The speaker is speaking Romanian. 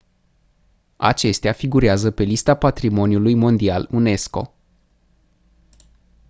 acestea figurează pe lista patrimoniului mondial unesco